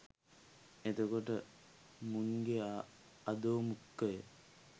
එතකොට මුන්ගෙ අධෝ මුඛය